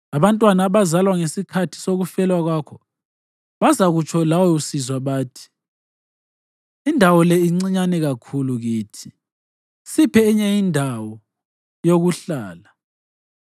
Abantwana abazalwa ngesikhathi sokufelwa kwakho bazakutsho lawe usizwa bathi, ‘Indawo le incinyane kakhulu kithi; siphe enye njalo indawo yokuhlala.’